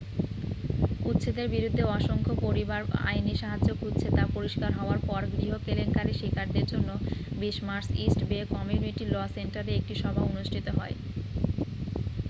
উচ্ছেদের বিরুদ্ধে অসংখ্য পরিবার আইনী সাহায্য খুঁজছে তা পরিষ্কার হওয়ার পর গৃহ কেলেঙ্কারির শিকারদের জন্য 20 March East Bay community law সেন্টারে একটি সভা অনুষ্ঠিত হয়